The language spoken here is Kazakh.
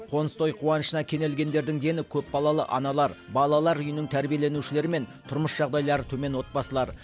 қоныс той қуанышына кенелгендердің дені көпбалалы аналар балалар үйінің тәрбиеленушілері мен тұрмыс жағдайлары төмен отбасылар